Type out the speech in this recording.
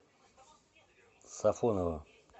сафоново